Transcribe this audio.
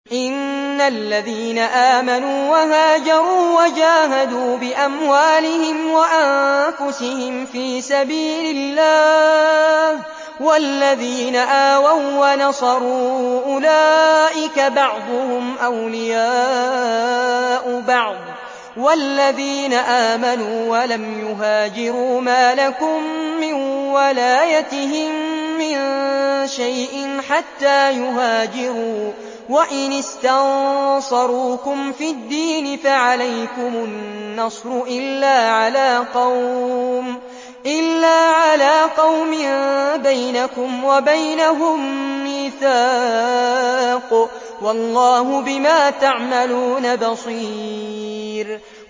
إِنَّ الَّذِينَ آمَنُوا وَهَاجَرُوا وَجَاهَدُوا بِأَمْوَالِهِمْ وَأَنفُسِهِمْ فِي سَبِيلِ اللَّهِ وَالَّذِينَ آوَوا وَّنَصَرُوا أُولَٰئِكَ بَعْضُهُمْ أَوْلِيَاءُ بَعْضٍ ۚ وَالَّذِينَ آمَنُوا وَلَمْ يُهَاجِرُوا مَا لَكُم مِّن وَلَايَتِهِم مِّن شَيْءٍ حَتَّىٰ يُهَاجِرُوا ۚ وَإِنِ اسْتَنصَرُوكُمْ فِي الدِّينِ فَعَلَيْكُمُ النَّصْرُ إِلَّا عَلَىٰ قَوْمٍ بَيْنَكُمْ وَبَيْنَهُم مِّيثَاقٌ ۗ وَاللَّهُ بِمَا تَعْمَلُونَ بَصِيرٌ